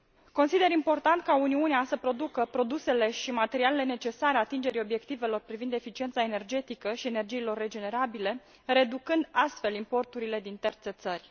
Consider important ca Uniunea să producă produsele și materialele necesare atingerii obiectivelor privind eficiența energetică și energiile regenerabile, reducând, astfel, importurile din terțe țări.